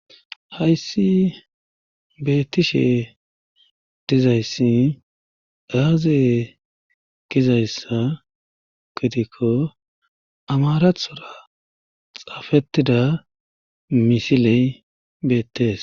hayssi beettishe dizayssi aaze gizayssa gidikko amarathora xaafettida misiley beettees